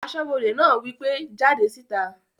Asọ́bodè náà wí pé "jáde síta!"